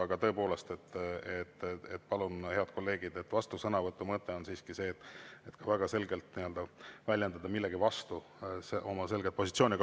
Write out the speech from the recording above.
Aga tõepoolest, palun, head kolleegid, vastusõnavõtu mõte on siiski väga selgelt väljendada millegi vastu oma selget positsiooni.